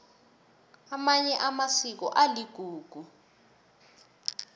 amanye amasiko aligugu